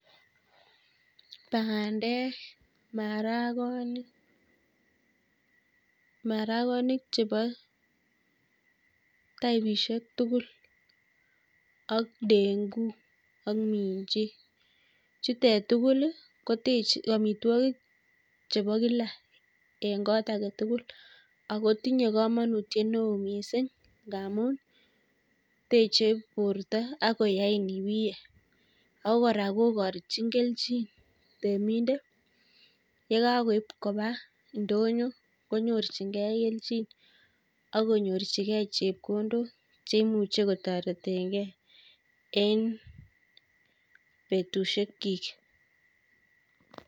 Bandek, maragonik maragonik chebo taipisiek tugul ak dengu ak minji. chutek tugul kotech, amitwogik chebo kila ing' kot agetugul, akotinye komonutiet neo miising' ngaamun teche borto akoyain ibiy. ako kora kogochin kelchin temindet yekakoib koba ndonyo konyorchingei kelchin akonyorchigei chepkondok cheimuche kotoretegei en betusiek chiik.